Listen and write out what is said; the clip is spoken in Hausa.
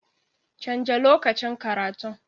Canja lokacin karatun.